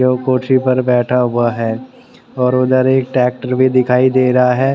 जो कुर्सी पर बैठा हुआ है और उधर एक ट्रैक्टर भी दिखाई दे रहा है।